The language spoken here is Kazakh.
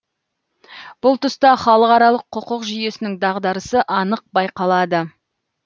бұл тұста халықаралық құқық жүйесінің дағдарысы анық байқалады